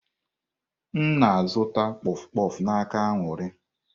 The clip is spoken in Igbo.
M na-azụta bụ kpof kpof n'aka Aṅụrị.